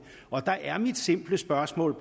her spørgsmål